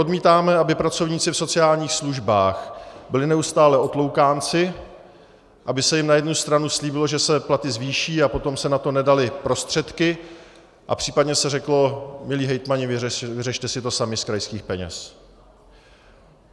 Odmítáme, aby pracovníci v sociálních službách byli neustále otloukánci, aby se jim na jednu stranu slíbilo, že se platy zvýší, a potom se na to nedaly prostředky a případně se řeklo: Milí hejtmani, vyřešte si to sami z krajských peněz.